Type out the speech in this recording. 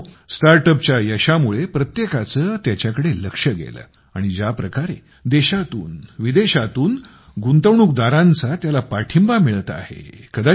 मित्रांनो StartUpच्या यशामुळे प्रत्येकाचे त्याकडे लक्ष गेलं आणि ज्याप्रकारे देशातून विदेशातून गुंतवणूकदारांचा त्याला पाठिंबा मिळत आहे